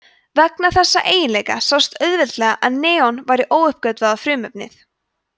vegna þessa einstaka eiginleika sást auðveldlega að neon væri óuppgötvað frumefni